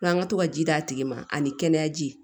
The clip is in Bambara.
N'an ka to ka ji d'a tigi ma ani kɛnɛyaji